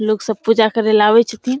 लोग सब पूजा करेले आवे छथिन।